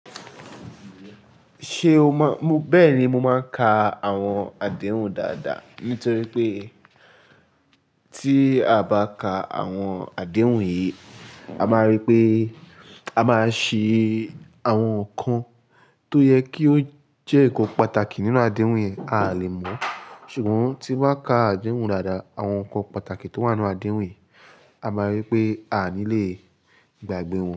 Ṣé o mọ̀, bẹ́ẹ̀ni mo máa ń ka àwọn àdéhùn dáadáa nítorí pé tí a bá ka àwọn àdéhùn yìí, a máa rí pé a máa ṣe àwọn nǹkan tó yẹ kí ó jẹ́ nǹkan pàtàkì nínú àdéhùn yẹn a lè mọ̀. Ṣùgbọ́n tí bá ka àdéhùn dáadáa, àwọn nǹkan pàtàkì tó wà nínú àdéhùn yìí a máa rí pé a nilẹ̀ gbàgbé wọn.